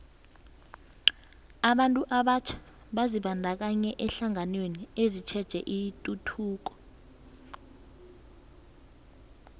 abantu abatjha bazibandakanye eenhlanganweni ezitjheje ituthuko